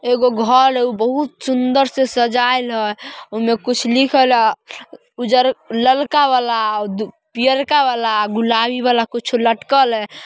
एगो घर है ऊ बहुत सुन्दर से सजायेल है। ओमे कुछ लिखल है ललका वाला पियरका वाला गुलाबी वाला कुछ लटकल है।